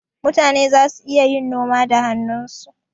Mutane zasu iya yin noma da hannunsu.